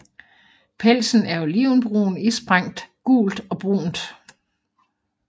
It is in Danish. Pelsen er olivenbrun isprængt gult og brunt